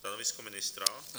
Stanovisko ministra?